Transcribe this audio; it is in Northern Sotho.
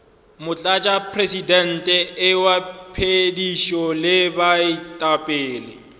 motlatšamopresidente wa phethišo le baetapele